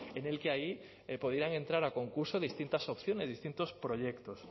en el que ahí podían entrar a concurso distintas opciones distintos proyectos